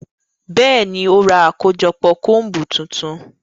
Bẹẹni, o ra akojọpọ combu tuntun